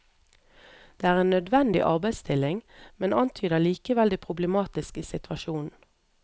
Det er en nødvendig arbeidsstilling, men antyder likevel det problematiske i situasjonen.